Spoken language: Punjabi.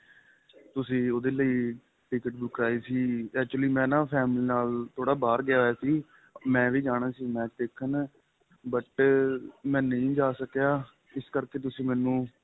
ਤੁਸੀਂ ਉਹਦੇ ਲਈ ticket ਬੁੱਕ ਕਰਾਈ ਸੀ actually ਮੈਂ ਨਾਂ family ਨਾਲ ਥੋੜਾ ਬਹਾਰ ਗਿਆ ਹੋਇਆ ਸੀ ਮੈਂ ਵੀ ਜਾਣਾ ਸੀ match ਦੇਖਣ but ਮੈਂ ਨਹੀਂ ਜਾਂ ਸਕਿਆ ਇਸ ਕਰਕੇ ਤੁਸੀਂ ਮੈਨੂੰ